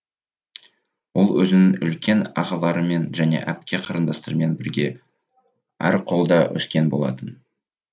ол өзінің үлкен ағаларымен және әпке қарындастарымен бірге әрқолда өскен болатын